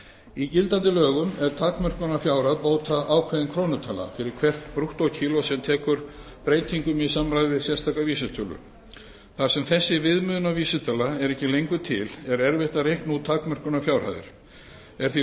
í gildandi lögum er takmörkunarfjárhæð bóta ákveðin krónutala fyrir hvert brúttókíló sem tekur breytingum í samræmi við sérstaka vísitölu þar sem þessi viðmiðunarvísitala er ekki lengur til er erfitt að reikna út takmörkunarfjárhæðir er því